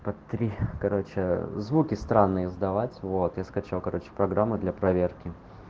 смотри короче звуки странные сдавать вот я скачал короче программа для проверки